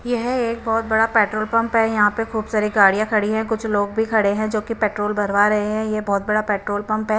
यह एक बहुत बड़ा पेट्रोल पंप है यहाँ पे खूब सारी गाड़ियाँ खड़ी हैं कुछ लोग भी खड़े हैं जो की पेट्रोल भरवा रहें हैं ये बहुत बड़ा पेट्रोल पंप है।